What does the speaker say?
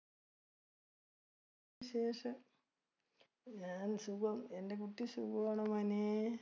വിശേഷം. ഞാൻ സുഖം. എൻ്റെ കുട്ടി സുഖമാണോ മോനെ?